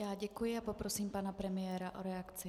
Já děkuji a poprosím pan premiéra o reakci.